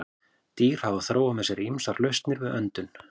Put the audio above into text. Dýr hafa þróað með sér ýmsar lausnir við öndun.